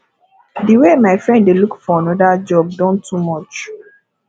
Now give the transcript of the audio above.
the way my friend dey look for another job don too much